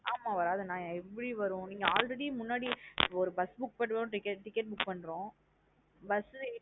ஆமா வரது நா எப்டி வரும் நீங்க already முன்னாடி ஒரு bus book பண்றோம் ticket பண்றோம் bus ஏறி.